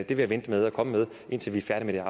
jeg vente med at komme med indtil vi er færdige